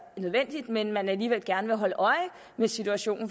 nødvendigt men hvor man alligevel gerne vil holde øje med situationen